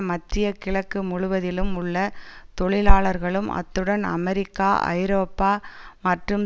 மத்திய கிழக்கு முழுவதிலும் உள்ள தொழிலாளர்களும் அத்துடன் அமெரிக்கா ஐரோப்பா மற்றும்